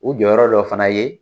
U jɔyɔrɔ dɔ fana ye